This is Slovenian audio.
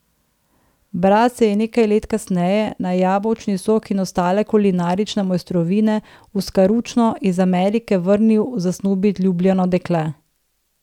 Brat se je nekaj let kasneje, na jabolčni sok in ostale kulinarične mojstrovine, v Skaručno iz Amerike vrnil zasnubit ljubljeno dekle.